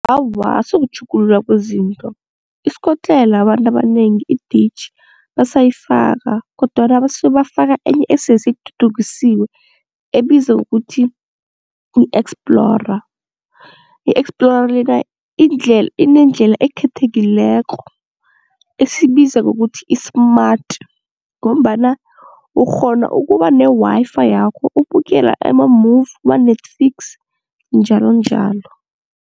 Awa akusikutjhugulula kwezinto, isikotlelo abantu abanengi iditjhi basayifaka kodwana basuka bafaka enye esese ithuthukisiwe ebizwa ngokuthi yi-Explorer, i-Explorer lena inendlela ekhethekileko esibiza ngokuthi i-smart ngombana ukghona ukuba ne-Wi-Fi yakho ubukele ama-movie, kwa-Netflix njalonjalo.